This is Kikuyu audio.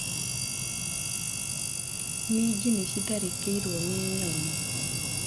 Minji nĩciratharĩkĩrwo nĩ nyoni.